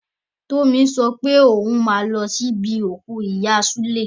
Tómi sopé òhun máa lo sí ibi òkú ìyá súlè.